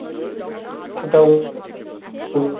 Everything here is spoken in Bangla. দক্ষতা ও